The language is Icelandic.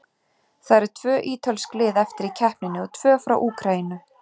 Það eru tvö ítölsk lið eftir í keppninni og tvö frá Úkraínu.